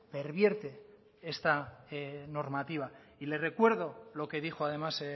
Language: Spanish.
pervierte esta normativa y le recuerdo lo que dijo además